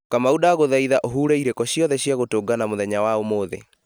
kamau ndagũthaitha ũhure irĩko ciothe cia gũtũngana mũthenya wa ũmũthĩ